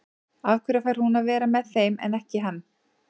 Af hverju fær hún að vera með þeim en ekki hann?